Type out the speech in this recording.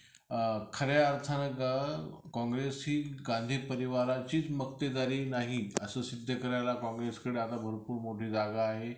अ खऱ्या अर्थानं काँग्रेस ही गांधी परिवाराचीच मखतेदारी नाही असे सिद्ध करायला काँग्रेसकडं आता भरपूर मोठी जागा आहे.